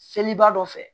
Seliba dɔ fɛ